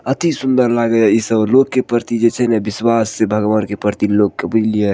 अति सूंदर लागे ये इ सब लोग के प्रति जे छै ने विश्वास छै भगवान के प्रति लोग के बुझलिये --